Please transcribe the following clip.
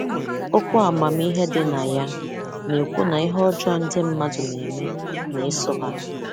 Okwu amamihe dị na ya na-ekwu na ihe ọjọọ ndị mmadụ na-eme na-eso ha.